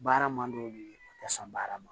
Baara man d'o ye u ka sɔn baara ma